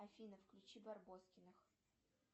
афина включи барбоскиных